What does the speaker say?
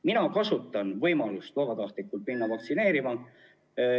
Mina kasutan vabatahtlikult võimalust minna vaktsineerima.